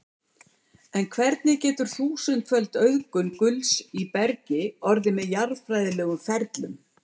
En hvernig getur þúsundföld auðgun gulls í bergi orðið með jarðfræðilegum ferlum?